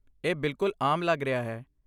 ਇਹ ਬਿਲਕੁੱਲ ਆਮ ਲੱਗ ਰਿਹਾ ਹੈ।